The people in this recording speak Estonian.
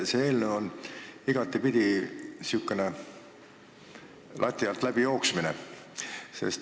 See eelnõu on igatepidi säärane lati alt läbi jooksmine.